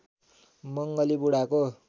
मंगली बुढाको